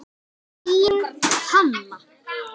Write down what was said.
Þín Hanna.